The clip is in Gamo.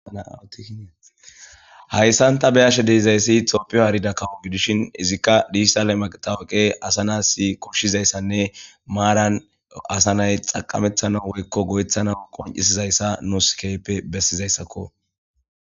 Hayisan ta be,ashe dizayisi tophiya harida kawo gidishin izika dijitale matawuqe asa na,as koshizayisanne maran asa na,ayi xaqametanaw woyiko go,etanaw qon,isiza nusi besizayisako